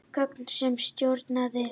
Gögn um stjórnunaraðila.